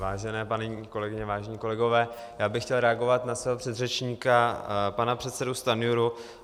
Vážené paní kolegyně, vážení kolegové, já bych chtěl reagovat na svého předřečníka pana předsedu Stanjuru.